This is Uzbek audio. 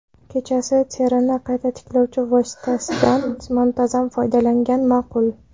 Kechasi terini qayta tiklovchi vositasidan muntazam foydalangan ma’qul.